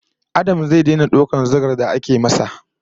Adam zai daina daukar zugar da ake masa